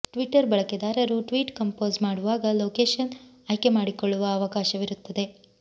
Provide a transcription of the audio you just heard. Twitter ಬಳಕೆದಾರರು tweet compose ಮಾಡುವಾಗ location ಆಯ್ಕೆ ಮಾಡಿಕೊಳ್ಳುವ ಅವಕಾಶವಿರುತ್ತದೆ